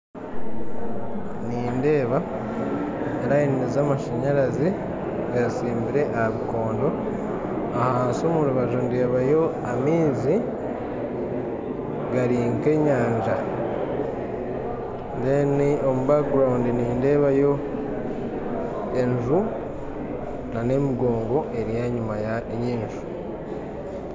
Nindeeba enyiriri z'amashanyarazi getsimbire aha bikondo ahansi omurubaju nindeebayo amaizi gari nk'enyanja enyima nindeebayo enju n'emigongo eri enyuma y'enju